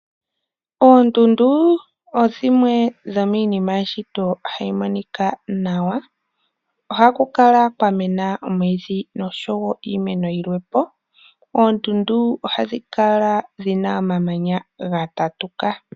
Oondundu odhimwe dhomiinima hayi monika nawa, ohaku kala kwa mena omwiidhi oshowo iimeno yimwe po .Oondundu ohadhi kala dhina omamanya gatatuka.